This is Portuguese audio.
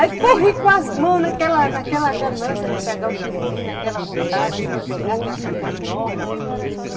Aí corri com as mãos naquela naquela ganância de pegar o surubim, naquela vontade de pegar aquele surubim enorme.